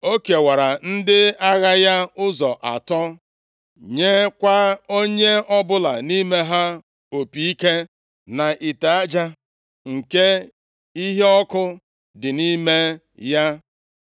O kewara ndị agha ya ụzọ atọ, nyekwa onye ọbụla nʼime ha opi ike, na ite aja nke iheọkụ dị nʼime ya.